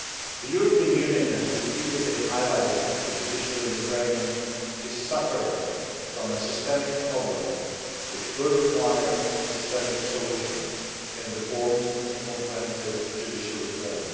The European Union has repeatedly highlighted that the judiciary in Ukraine is suffering from a systemic problem which will require a systemic solution in the form of comprehensive judicial reform.